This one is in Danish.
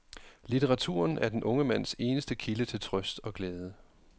Litteraturen er den unge mands eneste kilde til trøst og glæde.